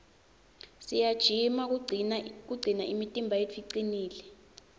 siyajima kugcina imitimba yetfu icinile